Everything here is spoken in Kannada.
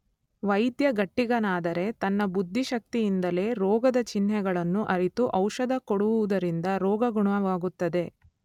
ವೈದ್ಯ ಗಟ್ಟಿಗನಾದರೆ ತನ್ನ ಬುದ್ಧಿಶಕ್ತಿಯಿಂದಲೇ ರೋಗದ ಚಿಹ್ನೆಗಳನ್ನು ಅರಿತು ಔಷಧ ಕೊಡುವುದರಿಂದ ರೋಗ ಗುಣವಾಗುತ್ತದೆ.